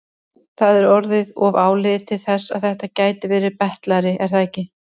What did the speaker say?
Það er orðið of áliðið til þess að þetta gæti verið betlari, er það ekki?